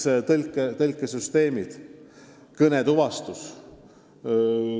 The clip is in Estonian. No näiteks tõlkesüsteemid, kõnetuvastus.